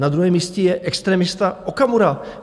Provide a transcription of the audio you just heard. Na druhém místě je extremista Okamura.